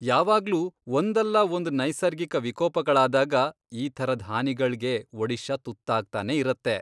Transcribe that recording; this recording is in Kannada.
ಯಾವಾಗ್ಲೂ ಒಂದಲ್ಲಾಒಂದ್ ನೈಸರ್ಗಿಕ ವಿಕೋಪಗಳಾದಾಗ ಈ ಥರದ್ ಹಾನಿಗಳ್ಗೆ ಒಡಿಶಾ ತುತ್ತಾಗ್ತಾನೇ ಇರತ್ತೆ.